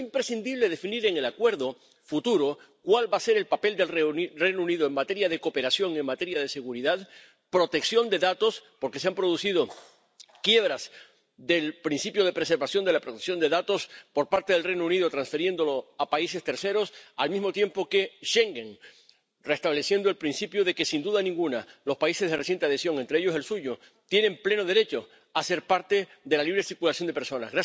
Pero es imprescindible definir en el acuerdo futuro cuál va a ser el papel del Reino Unido en materia de cooperación, en materia de seguridad, de protección de datos —porque se han producido quiebras del principio de conservación de la protección de datos por parte del Reino Unido, transfiriéndolo a países terceros—, al mismo tiempo que en Schengen, restableciendo el principio de que, sin duda ninguna, los países de reciente adhesión, entre ellos el suyo, tienen pleno derecho a ser parte de la libre circulación de personas.